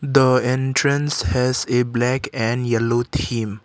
the entrance has a black and yellow theme.